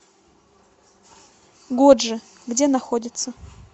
годжи где находится